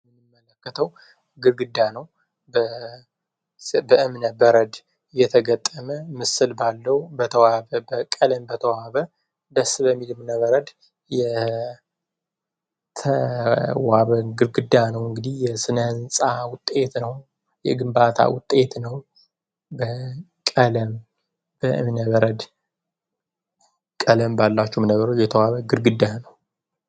የምመለከተው ግርግዳ ነው በእምነበረድ የተገጠመ ምስል ባለው ቀለም በተዋበ ደስ በሚል እምነበረድ የተዋበ ግርግዳ ነው እንግዲህ የስነንፃ ውጤት ነው የግንባታ ውጤት ነው ቀለም ባሏቸው እምነበረድ የተዋበ ግድግዳ ነው።